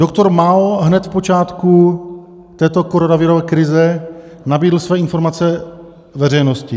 Doktor Mao hned v počátku této koronavirové krize nabídl své informace veřejnosti.